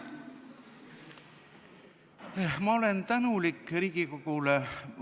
Ma olen tänulik Riigikogule!